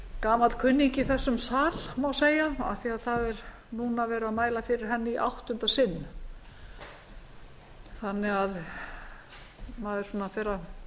gamall kunningi í þessum sal má segja af því að núna er verið að mæla fyrir henni í áttunda sinn maður fer að